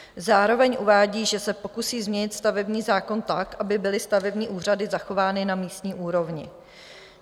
Zároveň uvádí, že se pokusí změnit stavební zákon tak, aby byly stavební úřady zachovány na místní úrovni.